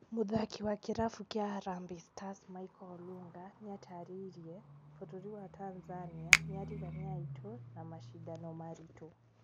Mũthaki wa kĩrabu kĩa Harambe Stars Michael Olunga nĩatarĩirie "bũrũri wa Tanzania nĩarigania aitũ na macindano maritũ"